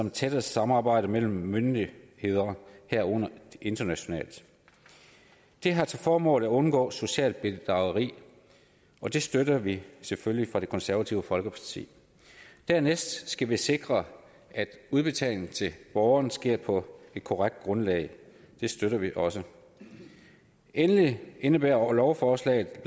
et tættere samarbejde mellem myndigheder herunder internationalt det har til formål at undgå socialt bedrageri og det støtter vi selvfølgelig fra det konservative folkepartis side dernæst skal vi sikre at udbetaling til borgeren sker på et korrekt grundlag det støtter vi også endelig indebærer lovforslaget